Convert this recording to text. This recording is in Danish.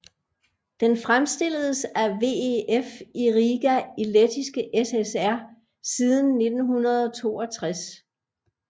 Den fremstilledes af VEF i Riga i Lettiske SSR siden 1962